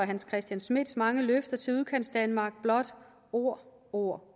hans christian schmidts mange løfter til udkantsdanmark blot ord ord